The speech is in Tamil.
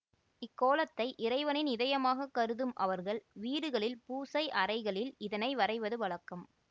இக் கோலத்தை இறைவனின் இதயமாகக் கருதும் அவர்கள் வீடுகளில் பூசை அறைகளில் இதனை வரைவது வழக்கம்